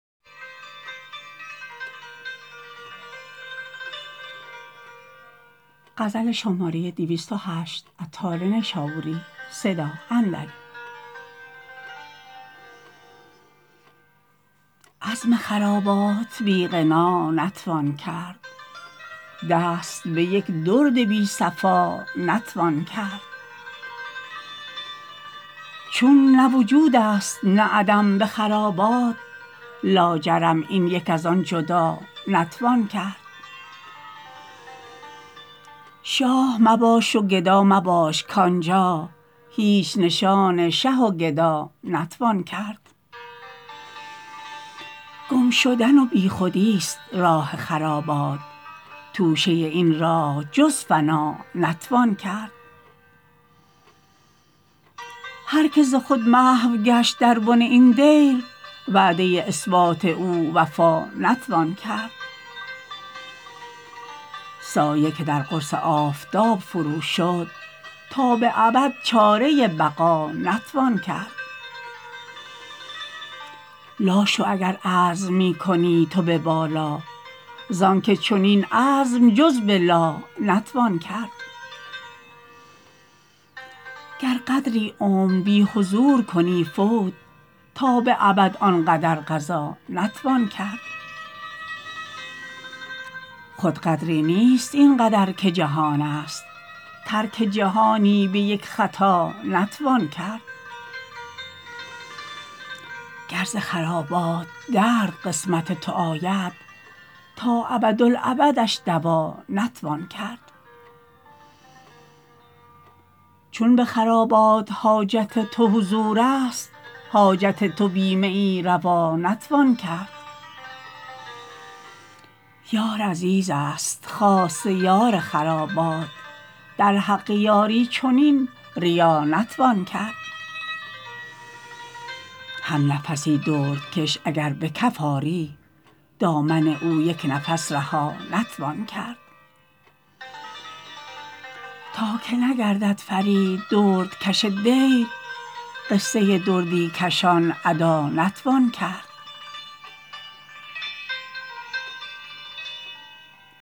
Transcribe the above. عزم خرابات بی فنا نتوان کرد دست به یک درد بی صفا نتوان کرد چون نه وجود است نه عدم به خرابات لاجرم این یک از آن جدا نتوان کرد شاه مباش و گدا مباش که آنجا هیچ نشان شه و گدا نتوان کرد گم شدن و بیخودی است راه خرابات توشه این راه جز فنا نتوان کرد هر که ز خود محو گشت در بن این دیر وعده اثبات او وفا نتوان کرد سایه که در قرص آفتاب فرو شد تا به ابد چاره بقا نتوان کرد لا شو اگر عزم می کنی تو به بالا زانکه چنین عزم جز به لا نتوان کرد گر قدری عمر بی حضور کنی فوت تا به ابد آن قدر قضا نتوان کرد خود قدری نیست این قدر که جهان است ترک جهانی به یک خطا نتوان کرد گر ز خرابات درد قسم تو آید تا ابد الابدش دوا نتوان کرد چون به خرابات حاجت تو حضور است حاجت تو بی میی روا نتوان کرد یار عزیز است خاصه یار خرابات در حق یاری چنین ریا نتوان کرد هم نفسی دردکش اگر به کف آری دامن او یک نفس رها نتوان کرد تا که نگردد فرید درد کش دیر قصه دردی کشان ادا نتوان کرد